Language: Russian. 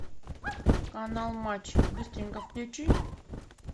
канал матч быстренько включи